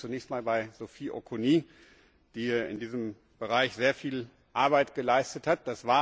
Ich bedanke mich zunächst bei Sophie Auconie, die in diesem Bereich sehr viel Arbeit geleistet hat.